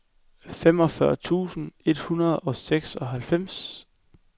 femogfyrre tusind et hundrede og seksoghalvfems